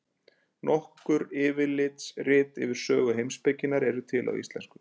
Nokkur yfirlitsrit yfir sögu heimspekinnar eru til á íslensku.